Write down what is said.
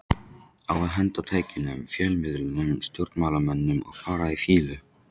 Á að henda tækjunum, fjölmiðlunum, stjórnmálamönnunum og fara í fýlu?